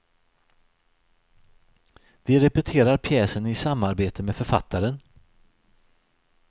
Vi repeterar pjäsen i samarbete med författaren.